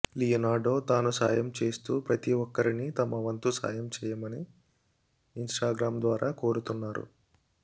Leonardo తాను సాయం చేస్తూ ప్రతి ఒక్కరిని తమ వంతు సాయం చేయమని ఇన్స్టాగ్రామ్ ద్వారా కోరుతున్నారు